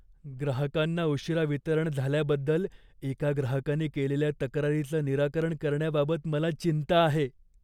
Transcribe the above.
ग्राहकांना उशीरा वितरण झाल्याबद्दल एका ग्राहकाने केलेल्या तक्रारीचं निराकरण करण्याबाबत मला चिंता आहे.